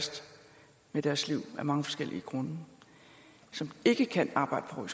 det deres liv af mange forskellige grunde de kan ikke arbejde på